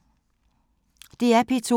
DR P2